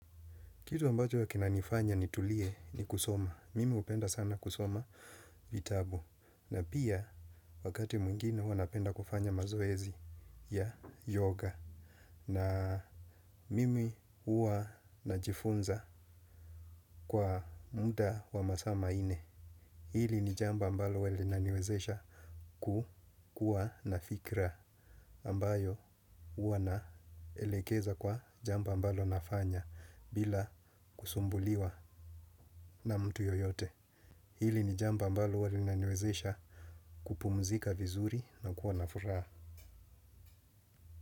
Kitu ambacho huwa kinanifanya nitulie ni kusoma. Mimi hupenda sana kusoma vitabu. Na pia wakati mwingine huwa napenda kufanya mazoezi ya yoga. Na mimi huwa najifunza kwa muda wa masaa manne. Hili ni jambo ambalo huwa linaniwezesha kukua nafikra ambayo uwa naelekeza kwa jambo ambalo nafanya bila kusumbuliwa na mtu yoyote. Hili ni jambo ambalo huwa linaniwezesha kupumzika vizuri na kuwa na furaha.